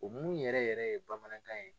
O mun yɛrɛ yɛrɛ ye bamanankan ye.